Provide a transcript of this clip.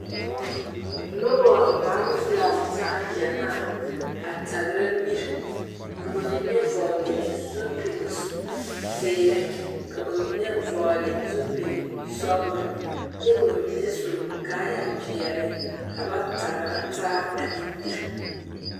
Naba naŋ laŋe taa gyamaa, a tagera miri ka ba mine vɔgeli zupile zeɛre ka ba mine vɔgeli zupile sɔglɔ kyɛ ka ba mine su kaayaa pɛɛle ka ba tagera taa ane miri.